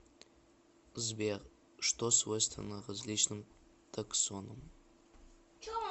сбер что свойственно различным таксонам